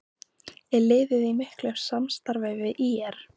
Er liðið í miklu samstarfi við ÍR?